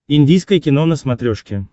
индийское кино на смотрешке